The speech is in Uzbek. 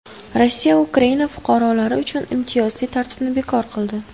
Rossiya Ukraina fuqarolari uchun imtiyozli tartibni bekor qildi.